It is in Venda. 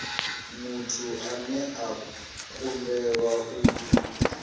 muthu ane a kundelwa u